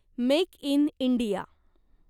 make in India